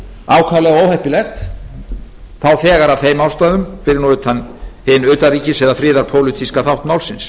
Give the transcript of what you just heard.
ákaflega óheppilegt þá þegar af þeim ástæðum fyrir nú utan hinn utanríkis eða friðarpólitíska þátt málsins